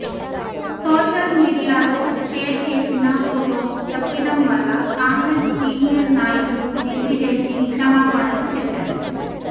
social మీడియాలో share చేసిన photo తప్పిదం వల్ల కాంగ్రెస్ సీనియర్ నాయకుడు దిగ్విజయ్ సింగ్ క్షమాపణలు చెప్పారు